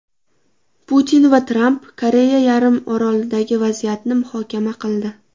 Putin va Tramp Koreya yarim orolidagi vaziyatni muhokama qildi.